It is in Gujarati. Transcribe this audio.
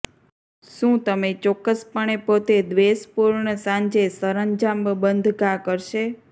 શું તમે ચોક્કસપણે પોતે દ્વેષપૂર્ણ સાંજે સરંજામ બંધ ઘા કરશે